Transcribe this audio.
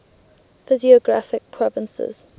physiographic provinces